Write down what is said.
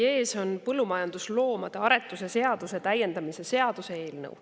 Teie ees on põllumajandusloomade aretuse seaduse täiendamise seaduse eelnõu.